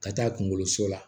Ka taa kunkoloso la